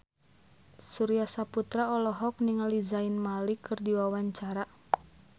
Surya Saputra olohok ningali Zayn Malik keur diwawancara